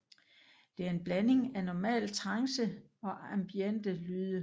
Det er en blanding af normal trance og ambiente lyde